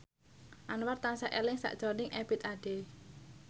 Anwar tansah eling sakjroning Ebith Ade